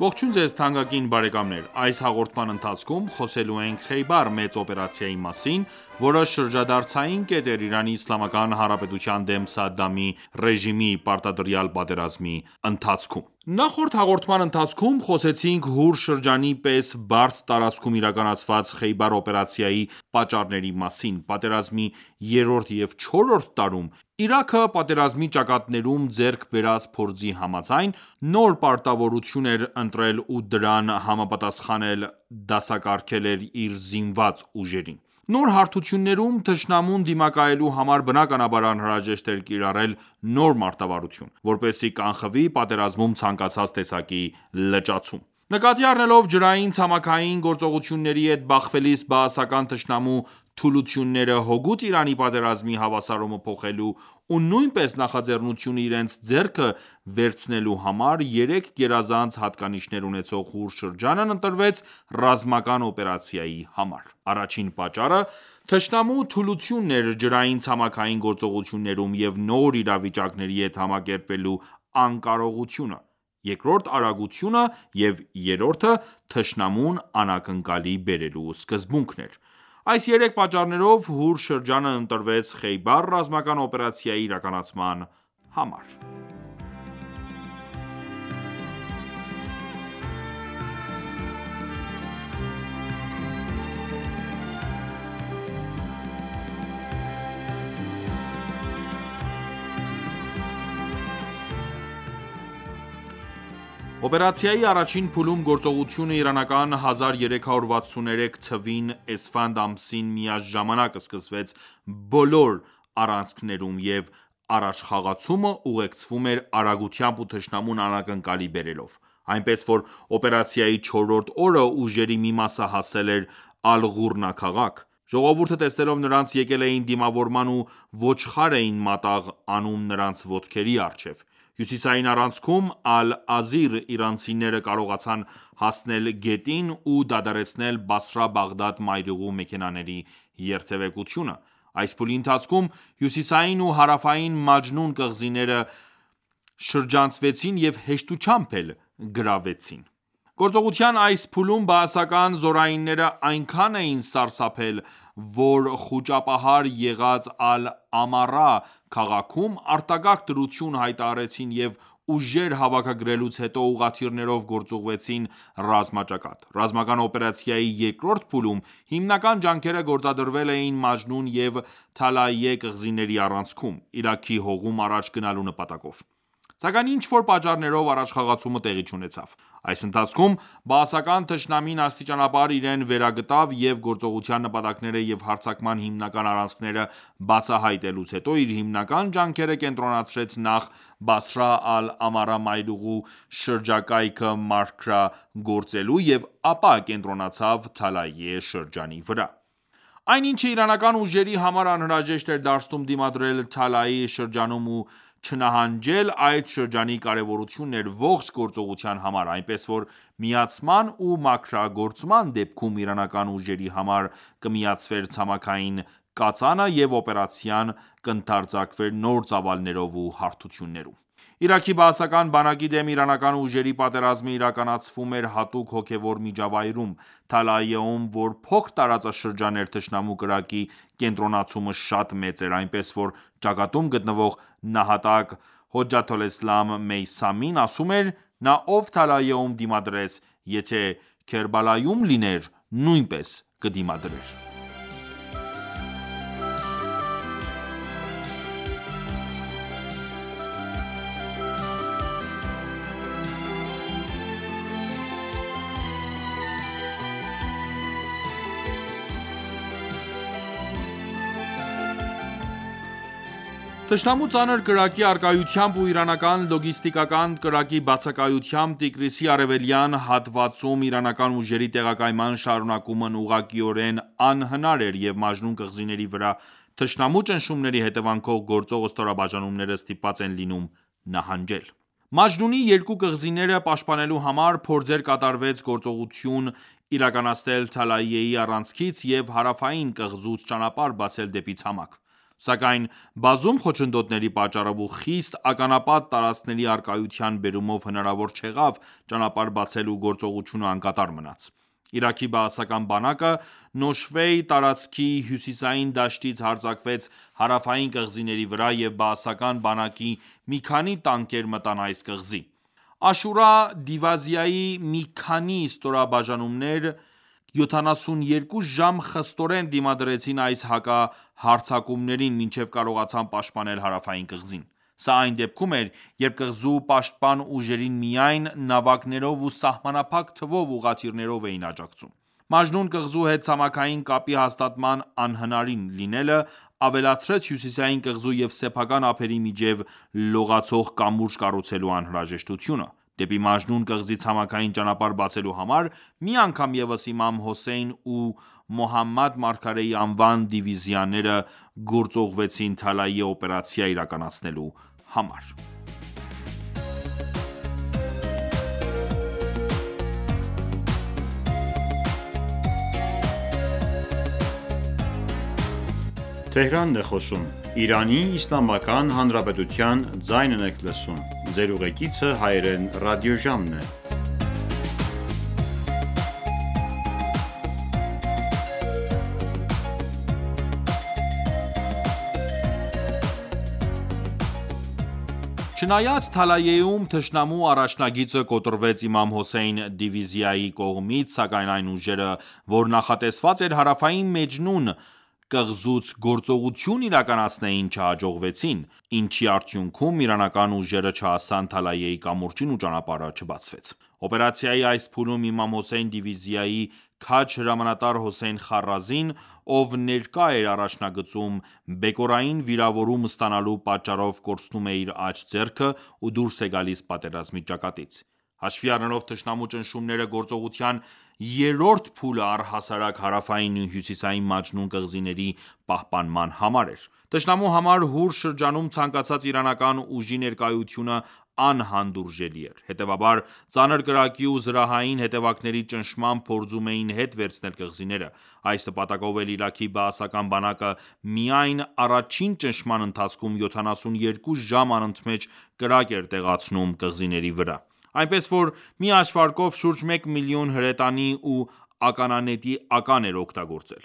Ողջույն ձեզ թանկագին բարեկամներ: Այս հաղորդման ընթացքում խոսելու ենք Խեյբար մեծ օպերացիայի մասին, որը շրջադարձային կետ էր ԻԻՀ-ի դեմ Սադդամի ռեժիմի պարտադրյալ պատերազմի ընթացքում: Նախորդ հաղորդման ընթացքում խոսեցինք Հուր շրջանի պես բարդ տարածքում իրականացված Խեյբար օպերացիայի պատճառների մասին: Պատերազմի երրորդ և չորրորդ տարում Իրաքը պատերազմի ճակատներում ձեռք բերած փորձի համաձայն, նոր մարտավարություն էր ընտրել ու դրան համապատասխան էլ դասակարգել էր իր զինված ուժերին: Նոր հարթություններում թշնամուն դիմակայելու համար բնականաբար անհրաժեշտ էր կիրառել նոր մարտավարություն, որպեսզի կանխվի պատերազմում ցանկացած տեսակի լճացում: Նկատի առնելով ջրային-ցամաքային գործողությունների հետ բախվելիս բաասական թշնամու թուլությունները, հօգուտ Իրանի պատերազմի հավասարումը փոխելու ու նույնպես նախաձեռնությունը իրենց ձեռքը վերցնելու համար երեք գերազանց հատկանիշներ ունեցող Հուր շրջանն ընտրվեց ռազմական օպերացիայի համար: Առաջին պատճառը թշնամու թուլությունն էր ջրային-ցամաքային գործողություններում և նոր իրավիճակների հետ համակերպվելու անկարողությունը, երկրորդը արագությունը և երրորդը թշնամուն անակնկալի բերելու սկզբունքն էր: Այս երեք պատճառներով Հուր շրջանն ընտրվեց խեյբար ռազմական օպերացիայի իրականացման համար: Օպերացիայի առաջին փուլում գործողությունը իրանական 1363թ. էսֆանդ ամսին միաժամանակ սկսվեց բոլոր առանցքնեում և առաջխաղացումը ուղեկցվում էր արագությամբ ու թշնամուն անակնկալի բերելով: Այնպես որ օպերացիայի չորրորդ օրը ուժերի մի մասը հասել էր Ալ-Ղուրնա քաղաք: Ժողովուրդը տեսնելով նրանց եկել էին դիմավորման ու ոչխար էին մատաղ անում նրանց ոտքերի առջև: Հյուսիսային առանցքում (Ալ-Ազիր) իրանցիները կարողացան հասնել գետին ու դադարեցնել Բասրա-Բաղդադ մայրուղու մեքենաների երթևեկությունը: Այս փուլի ընթացքում հյուսիսային ու հարավային Մաջնուն կղզիները շրջանցվեցին և հեշտությամբ էլ գրավվեցին: Գործողության այս փուլում բաասական զորայինները այնքան էին սարսափել, որ խուճապահար եղած Ալ-Ամարա քաղաքում արտակարգ դրություն հայտարարեցին և ուժեր հավաքագրելուց հետո ուղղաթիռներով գործուղվեցին ռազմաճակատ: Ռազմական օպերացիայի երկրորդ փուլում հիմնական ջանքերը գործադրվելու էին Մաջնուն և Թալաիյե կղզիների առանցքում, Իրաքի հողում առաջ գնալու նպատակով:Սակայն ինչ-որ պատճառներով առաջխաղացումը տեղի չունեցավ: Այս ընթացքում բաասական թշնամին աստիճանաբար իրեն վերագտավ և գործողության նպատակները և հարձակման հիմնական առանցքները բացահայյտելուց հետո իր հիմնական ջանքերը կենտրոնացրեց նախ Բասրա-Ալ-Ամարա մայրուղու շրջակայքը մաքրագործելու և ապա կենտրոնացավ Թալաիյե շրջանի վրա: Այն ինչը իրանական ուժերի համար անհրաժեշտ էր դարձնում դիմադրել Թալաիյե շրջանում ու չնահանջել, այդ շրջանի կարևորությունն էր ողջ գործողության համար: Այնպես որ միացման ու մաքրագործման դեպքում Իրանական ուժերի համար կմիացվեր ցամաքային կածանը և օպերացիան կընդարձակվեր նոր ծավալներով ու հարթություններում: Իրաքի բաասական բանակի դեմ իրանական ուժերի պատերազմը իրականացվում էր հատուկ հոգևոր միջավայրում: Թալաիյեում, որ փոքր տարածաշրջան էր Թշնամու կրակի կենտրոնացումը շատ մեծ էր, այնպես որ ճակատում գտնվող՝ նահատակ Հոջաթոլէսլամ Մեյսամին ասում էր.«Նա ով Թալաիյեում դիմադրեց, եթե Քերբելայում լիներ նույնպես կդիմադրեր»: Թշնամու ծանր կրակի առակայությամբ ու իրանական լոգիստիկանան կրակի բացակայությամբ Տիգրիսի արևելյան հատվածում իրանական ուժերի տեղակայման շարունակումն ուղղակիորեն անհնար էր և Մաջնուն կղզիների վրա թշնամու ճնշումների հետևանքով գործող ստորաբաժանումները ստիպված են լինում նահանջել: Մաջնունի երկու կղզիները պաշտպանելու համար փորձեր կատարվեց գործողություն իրականացնել Թալաիյեի առանցքից և հարավային կղզուց ճանապարհ բացել դեպի ցամաք: Սակայն բազում խոչընդոտների պատճառով ու խիտ ականապատ տարածքների առկայության բերումով հնարավոր չեղավ ճանապարհ բացել ու գործողությունը անկատար մնաց: Իրաքի բաասական բանակը Նոշվեի տարածքի հյուսիսային դաշտերից հարձակվեց հարավային կղզիների վրա և բաասական բանակի մի քանի տանկեր մտան այս կղզի: Աշուրա դիվիազիայի մի քանի ստորաբաժանումներ 72 ժամ խստորեն դիմադրեցին այս հակահարձակումներին մինչև կարողացան պաշտպանել հարավային կղզին: Սա այն դեպքում էր, երբ կղզու պաշտպան ուժերին միայն նավակներով ու սահմանափակ թվով ուղղաթիռներով էին աջակցում: Մաջնուն կղզու հետ ցամաքային կապի հաստատման անհնարին լինելը, ավելացրեց հյուսիսային կղզու և սեփական ափերի միջև լողացող կամուրջ կառուցելու անհրաժեշտությունը: Դեպի Մաջնուն կղզի ցամաքային ճանապարհ բացելու համար մի անգամ ևս Իմամ Հոսեյն ու Մոհամմեդ մարգարեի անվան դիվիզիաները գործողվեցին Թալաիյե օպերացիա իրականացնելու համար: Չնայած Թալաիյեում թշնամու առաջնագիծը կոտրվեց Իմամ Հոսեյն դիվիազիայի կողմից, սակայն այն ուժերը, որ նախատեսված էր Հարավային Մաջնուն կղզուց գործողություն իրականացնեին չհաջողեցին, ինչի արդյունքում Իրանական ուժերը չհասան Թալաիյեի կամուրջին ու ճանապարհը չբացվեց: Օպերացիայի այս փուլում Իմամ Հոսեյն դիվիզիայի քաջ հրամանատար Հոսեյն Խառազին, ով ներկա էր առաջնագծում բեկորային վիրավորում ստանալու պատճառով կորցնում է իր աջ ձեռքը ու դուրս է գալիս պատերազմի ճակատից: Հաշվի առնելով թշնամու ճնշումները գործողության երրորդ փուլը առհասարակ հարավային ու հյուսիսային Մաջնուն կղզիների պահպանման համար էր: Թշնամու համար Հուր շրջանում ցանկացած իրանական ուժի ներկայությունը անհանդուրժելի էր: Հետևաբար, ծանր կրակի ու զրահային հետևակների ճնշմամբ փորձում էին հետ վերցնել կղզիները: Այս նպատակով էլ Իրաքի բաասական բանակը միայն առաջին ճնշման ընթացքում 72 ժամ անընդմեջ կրակ էր տեղացնում կղզիների վրա: Այնպես որ մի հաշվարկով շուրջ 1 մլն. հրետանի ու ականանետի ական էր օգտագործել: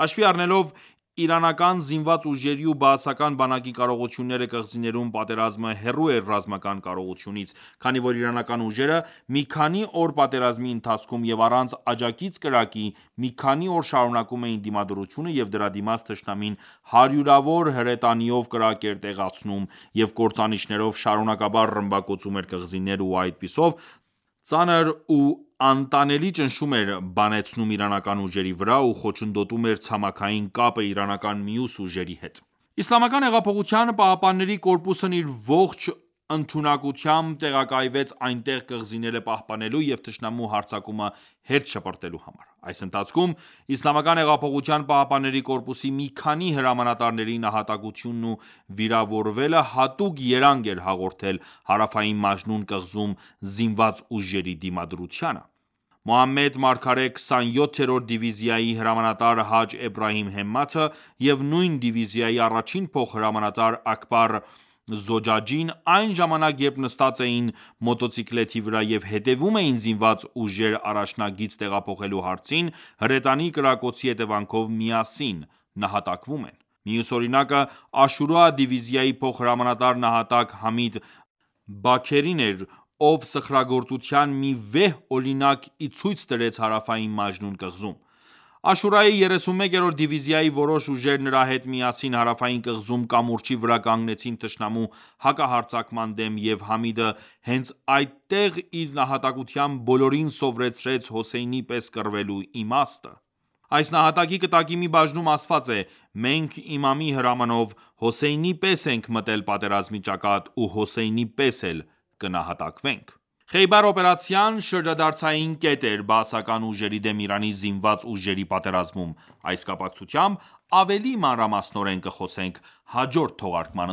Հաշվի առնելով իրանական զինված ուժերի ու բաասական բանակի կարողությունները կղզիներում պատերազմը հեռու էր ռազմական կարողությունից, քանի որ իրանական ուժերը մի քանի օր պատերազմի ընթացքում և առանց աջակից կրակի մի քանի օր շարունակում էին դիմադրությունը և դրա դիմաց թշնամին հարյուրավոր հրետանիով կրակ էր տեղացնում և կործանիչներով շարունակաբար ռմբակոծում էր կղզիները ու այդպիսով ծանր ու անտանելի ճնշում էր բանեցնում իրանական ուժերի վրա ու խոչընդոտում էր ցամաքային կապը իրանական մյուս ուժերի հետ: ԻՀՊԿ-ն իր ողջ ընդունակությամբ տեղակայվեց այնտեղ կղզիները պահպանելու և թշնամու հրաձակումը հետ շպրտելու համար: Այս ընթացքում: ԻՀՊԿ-ի մի քանի հրամանատարների նահատակությունն ու վիրավորվելը հատուկ երանգ էր հաղորդել Հարավային Մաջնուն կղզում զինված ուժերի դիմադրությանը: «Մոհամմեդ մարգարե» 27-րդ դիվիազիայի հրամանատար Հաջ Էբրահիմ Հեմմաթը և նույն դիվիզիայի առաջին փոխհրամանատար Աքբար Զոջաջին այն ժամանակ երբ նստած էին մոտոցիկլետի վրա և հետևում էին զինված ուժեր առաջնագիծ տեղափոխելու հարցին հրետանի կրակոցի հետևանքով միասին նահատակվում են: Մյուս օրինակը Աշուրա դիվիզիայի փոխհրամանատար նահատակ Համիդ Բաքերին էր, ով սխրագործության մի վեհ օրինակ իցույց դրեց Հարավային Մաջնուն կղզում: Աշուրայի 31-րդ դիվիզիայի որոշ ուժեր նրա հետ միասին հարավային կղզում կամուրջի վրա կանգնեցին թշնամու հակահարձակման դեմ և Համիդը հենց այդտեղ իր նահատակությամբ բոլորին սվորեցրեց Հոսեյնի պես կռվելու իմաստը: Այս նահատակի կտակի մի բաժնում ասված է.«Մենք Իմամի հրամանով, Հոսեյնի պես ենք մտել պատերազմի ճակատ ու Հոսեյնի պես էլ կնահատակվենք»: Խեյբար օպերացիան շրջադարձային կետ էր բաասական ուժերի դեմ Իրանի զինմված ուժերի պատերազմում: Այս կապակցությամբ ավելի մանրամասնորեն կխոսենք հաջորդ թողարկման